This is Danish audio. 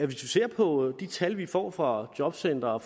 vi ser på de tal vi får fra jobcentre og